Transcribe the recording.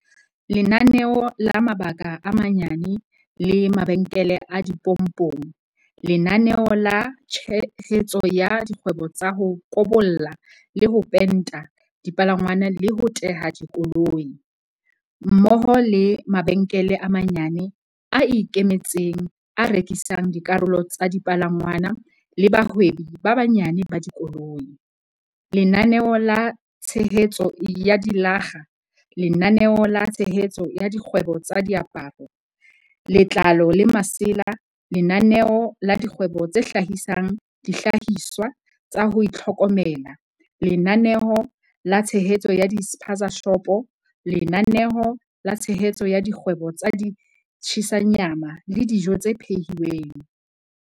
Lenaneo la mabaka a manyane le mabenkele a dipompong Lenaneo la tshehetso ya dikgwebo tsa ho kobolla le ho penta dipalangwang le ho teha dikoloi, mmoho le mabenkele a manyane a ikemetseng a rekisang dikarolo tsa dipalangwang le bahwebi ba banyane ba dikoloi, Lenaneo la tshehetso ya dilakga Lenaneo la tshehetso ya dikgwebo tsa diaparo, letlalo le masela Lenaneo la dikgwebo tse hlahisang dihlahiswa tsa ho itlhokomela Lenaneo la tshehetso ya di-spaza-shopo Lenaneo la tshehetso ya dikgwebo tsa di-tshisa nyama le dijo tse phehi lweng